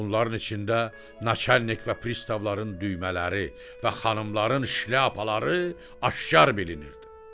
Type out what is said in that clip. Bunların içində naçalnik və pristavların düymələri və xanımların şlyapaları aşkar bilinirdi.